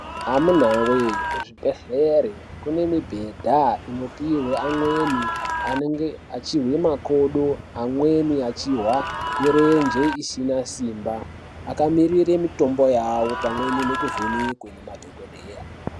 Amunaa wee kuzvibhendleri kune mibhedha inopuhwa amweni anenge achizwa makodo. Amweni achihwa mirenje isina simba akamirira mitombo yawo pamwe nekuvhenekwa ngemadhokodheya.